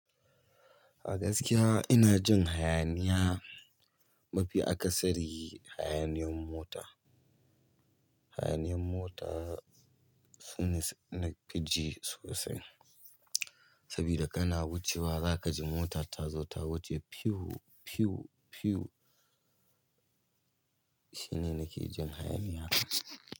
A gaskiya ina jin hayaniya. Mafi akasari yi hayaniyan mota. Hayaniyan mota sune nakiji sosai. Saboda kana wucewa za kaji mota ta zo ta wuce pyu pyu pyu. Shine nake jin hayaniya.